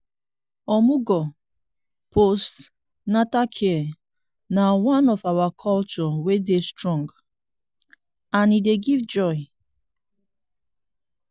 omugwo(post-natal care) na one of our culture wey dey strong and e dey give joy.